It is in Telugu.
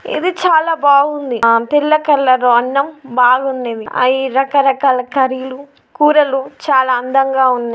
ఇది చాలా బాగుంది. తెల్ల కలర్ ఉన్నా అన్నం బాగున్నది.అయి రకరకాల కర్రీ లు కూరలు చాలా అందంగా ఉంది.